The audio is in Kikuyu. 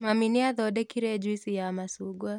Mami nĩathondekire juici ya macungwa